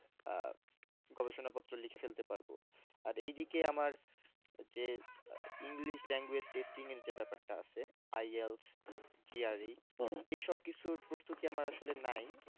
আহ গবেষণা পত্র লিখে ফেলতে পারব আর এদিকে আমার যে english language testing এর যে ব্যাপারটা আছে ILSGRE এসব কিছুর প্রস্তুতি আমার আসলে নাই